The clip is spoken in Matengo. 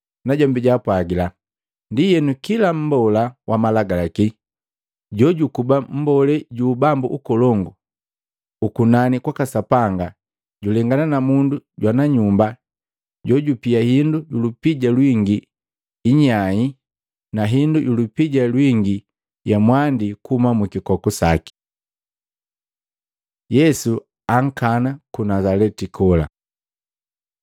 Najombi jaapwagila, “Ndienu, kila mmbola wa Malagalaki jojukuba mmbolee ju Ubambu ukolongu ukunani kwaka Sapanga julengana na mundu jwana nyumba jojupia indu yulupija lwingi inyai na hindu yulupija lwingi ya mwandi kuhuma mukikoku saki.” Yesu ankana ku Nazaleti kola Maluko 6:1-6; Luka 4:16-30